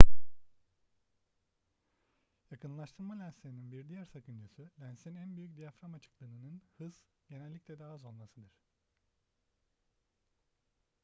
yakınlaştırma lenslerinin bir diğer sakıncası lensin en büyük diyafram açıklığının hız genellikle daha az olmasıdır